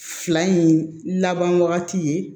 Fila in laban wagati ye